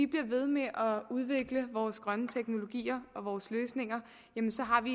bliver ved med at udvikle vores grønne teknologier og vores løsninger jamen så har vi